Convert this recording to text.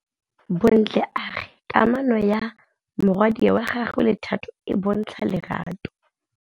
Bontle a re kamanô ya morwadi wa gagwe le Thato e bontsha lerato.